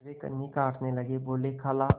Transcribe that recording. वे कन्नी काटने लगे बोलेखाला